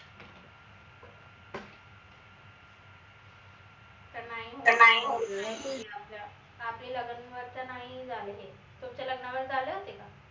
नाई आपले नाई झाले हे तुमच्या लग्नाला झाले होते का?